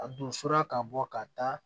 A donsora ka bɔ ka taa